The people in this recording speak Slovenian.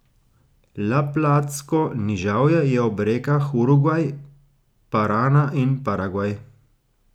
Laplatsko nižavje je ob rekah Urugvaj, Parana in Paragvaj.